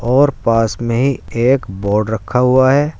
और पास में ही एक बोर्ड रखा हुआ है।